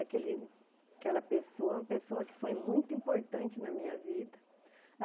Aquele aquela pessoa, é uma pessoa que foi muito importante na minha vida.